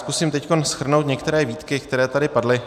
Zkusím teď shrnout některé výtky, které tady padly.